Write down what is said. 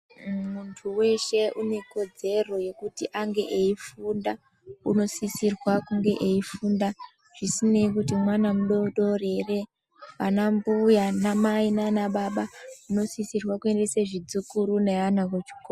Muntu weshe unekodzere yekuti ange eifunda unosisirwa kunge eifunda zvisinei kuti mwana mudodori ere anambuya anamai nanababa munosisirwa kuendese zvidzukuri neana kuchikora.